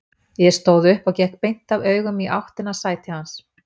Ég stóð upp og gekk beint af augum í áttina að sæti hans.